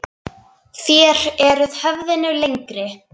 Þér eruð höfðinu lengri.